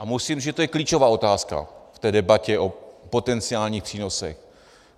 A musím říct, že to je klíčová otázka v té debatě o potenciálních přínosech.